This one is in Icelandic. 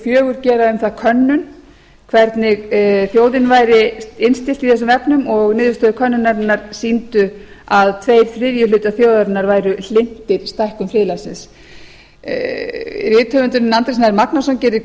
fjögur gera um það könnun hvernig þjóðin væri innstillt í þessum efnum og niðurstöður könnunarinnar sýndu að tveir þriðju þjóðarinnar væru hlynntir stækkun friðlandsins rithöfundurinn andri snær magnússon gerði